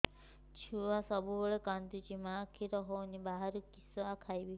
ଛୁଆ ସବୁବେଳେ କାନ୍ଦୁଚି ମା ଖିର ହଉନି ବାହାରୁ କିଷ ଖାଇବ